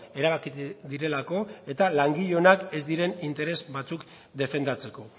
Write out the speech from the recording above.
erabaki direlako eta langile onak ez diren interes batzuk defendatzeko